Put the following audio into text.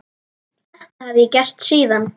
Þetta hef ég gert síðan.